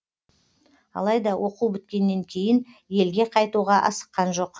алайда оқу біткеннен кейін елге қайтуға асыққан жоқ